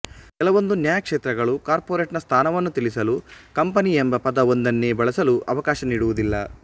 ಕೆಲವೊಂದು ನ್ಯಾಯಕ್ಷೇತ್ರಗಳು ಕಾರ್ಪೋರೆಟ್ ನ ಸ್ಥಾನವನ್ನು ತಿಳಿಸಲು ಕಂಪನಿ ಎಂಬ ಪದ ಒಂದನ್ನೇ ಬಳಸಲು ಅವಕಾಶ ನೀಡುವುದಿಲ್ಲ